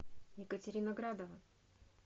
екатерина градова